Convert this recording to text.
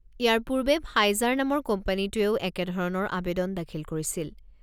ইয়াৰ পূৰ্বে ফাইজাৰ নামৰ কোম্পানীটোৱেও একে ধৰণৰ আবেদন দাখিল কৰিছিল।